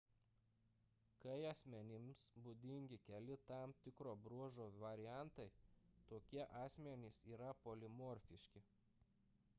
kai asmenims būdingi keli tam tikro bruožo variantai tokie asmenys yra polimorfiški